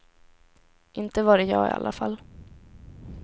Inte var det jag i alla fall.